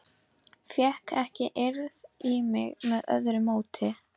Fékk ekki eirð í mig með öðru móti.